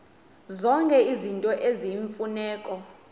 zonke izinto eziyimfuneko